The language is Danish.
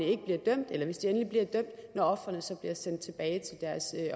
ikke bliver dømt eller hvis bagmændene endelig bliver dømt når ofrene så bliver sendt tilbage til deres